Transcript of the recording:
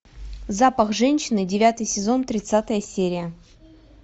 запах женщины девятый сезон тридцатая серия